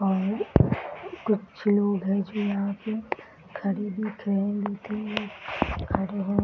बाहर कुछ लोग हैं जो यहाँ पे खरीदी पहनती